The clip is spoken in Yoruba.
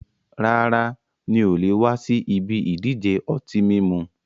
Rárá, mi ò le wa si ibi ìdíje ọtí mímu